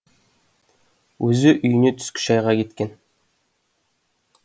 өзі үйіне түскі шайға кеткен